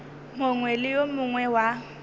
mongwe le yo mongwe wa